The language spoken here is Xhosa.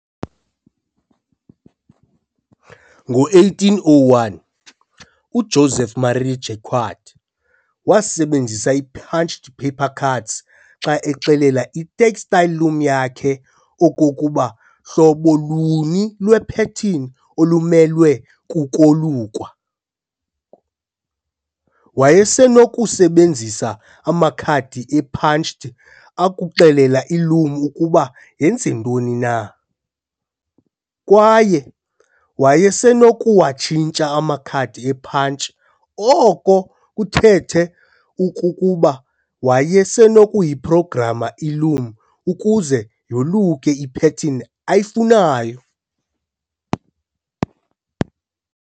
Ngo-1801, uJoseph Marie Jacquard wasebenzisa i-punched paper cards xa exelela i-textile loom yakhe okokuba hlobo luni lwe-pattern olumelwe kukolukwa. wayesenokusebenzisa amakhadi e-punch akuxelela i-loom ukuba yenze ntoni na, kwaye wayesenokuwatshintsha amakhadi e-punch, oko kuthethe okokuba wayesenokuyi-programa i-loom ukuze yoluke ipattern ayifunayo.